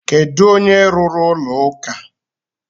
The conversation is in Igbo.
Kedu onye rụrụ ụlọ ụka?